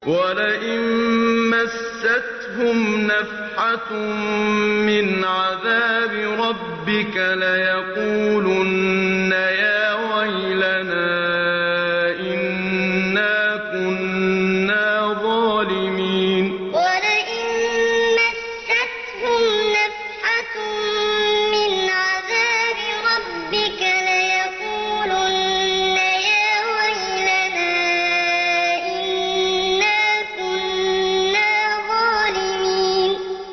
وَلَئِن مَّسَّتْهُمْ نَفْحَةٌ مِّنْ عَذَابِ رَبِّكَ لَيَقُولُنَّ يَا وَيْلَنَا إِنَّا كُنَّا ظَالِمِينَ وَلَئِن مَّسَّتْهُمْ نَفْحَةٌ مِّنْ عَذَابِ رَبِّكَ لَيَقُولُنَّ يَا وَيْلَنَا إِنَّا كُنَّا ظَالِمِينَ